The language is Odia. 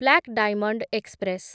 black diamond express